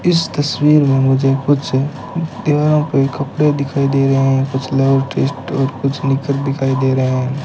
इस तस्वीर में मुझे कुछ दीवारों पे कपड़े दिखाई दे रहे हैं कुछ टेस्ट और कुछ निक्कर दिखाई दे रहे हैं।